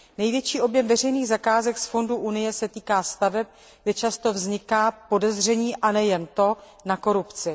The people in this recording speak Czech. Největší objem veřejných zakázek z fondů Unie se týká staveb, kdy často vzniká podezření, a nejen to, na korupci.